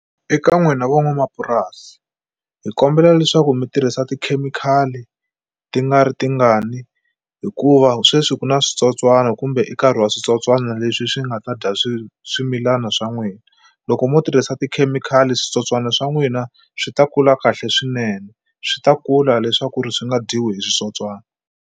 Eka n'wina van'wamapurasi hi kombela leswaku mi tirhisa tikhemikhali ti nga ri tingani hikuva sweswi ku na switsotswani kumbe nkarhi wa switsotswana leswi swi nga ta dya swimilana swa n'wina loko mo tirhisa tikhemikhali switsotswana swa n'wina swi ta kula kahle swinene swi ta kula leswaku ri swi nga dyiwi hi switsotswana.